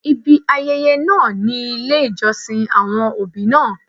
Ibi ayẹyẹ náà ni ilé ìjọsìn àwọn òbí náà.